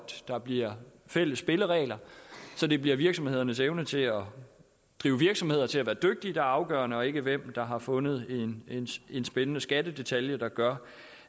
der bliver fælles spilleregler så det bliver virksomhedernes evne til at drive virksomheder og til at være dygtige der er afgørende og ikke hvem der har fundet en en spændende skattedetalje der gør